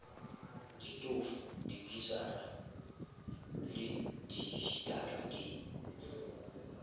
ditofo dikisara le dihitara ke